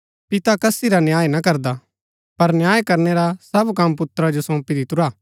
पिता कसी रा न्याय ना करदा पर न्याय करणै रा सब कम पुत्रा जो सौंपी दितुरा